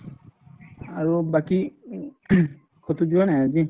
আৰু বাকি উম কতো যোৱা নাই আজি ?